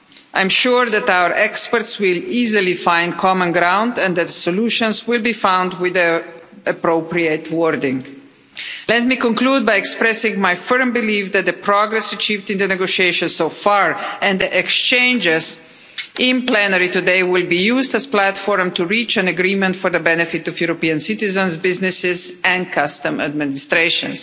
I am sure that our experts will easily find common ground and that solutions will be found with the appropriate wording. Let me conclude by expressing my firm belief that the progress achieved in the negotiations so far and the exchanges in plenary today will be used as a platform to reach an agreement for the benefit of European citizens, businesses and customs administrations.